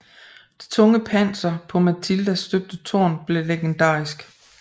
Det tunge panser på Matildas støbte tårn blev legendarisk